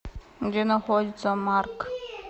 где находится марк